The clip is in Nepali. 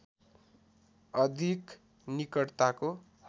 अधिक निकटताको